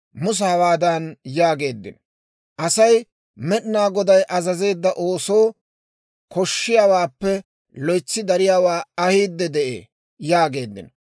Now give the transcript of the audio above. Musa hawaadan yaageeddino; «Asay Med'inaa Goday azazeedda oosoo koshshiyaawaappe loytsi dariyaawaa ahiide de'ee» yaageeddino.